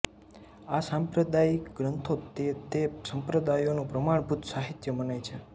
આ સાંપ્રદાયિક ગ્રંથો તે તે સંપ્રદાયોનું પ્રમાણભૂત સાહિત્ય મનાય છે